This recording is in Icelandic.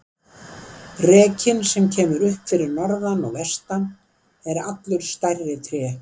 Rekinn sem kemur upp fyrir norðan og vestan er allur stærri tré.